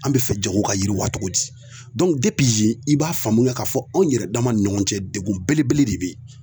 An be fɛ jago ka yiriwa cogo di dɔɔnku depi yen i b'a faamuya k'a fɔ anw yɛrɛ dama ni ɲɔgɔn cɛ degun belebele de be yen